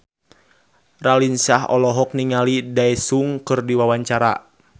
Raline Shah olohok ningali Daesung keur diwawancara